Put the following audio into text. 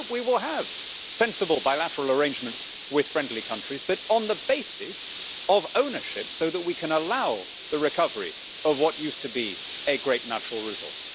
And I hope we will have sensible bilateral arrangements with friendly countries, but on the basis of ownership, so that we can allow the recovery of what used to be a great natural resource.